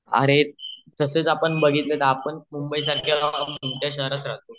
आरे तसाच आपण बाघितले तर आपण मुंबई सारखा शहरात राहतो